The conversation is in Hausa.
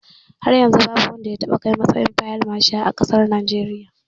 Har yanzu babu wanda ya taɓa kaiwa matsayin fil mashal a ƙasar Najeriya.